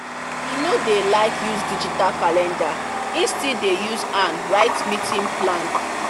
he no dey like use digital calendar and he still dey use hand write meeting plan